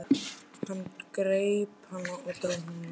Hann greip hann og dró hann upp.